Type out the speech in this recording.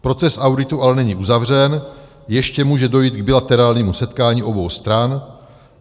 Proces auditu ale není uzavřen, ještě může dojít k bilaterálnímu setkání obou stran.